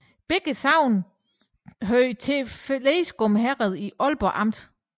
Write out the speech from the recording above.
Begge sogne hørte til Fleskum Herred i Aalborg Amt